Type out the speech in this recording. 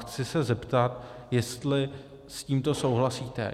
Chci se zeptat, jestli s tímto souhlasíte.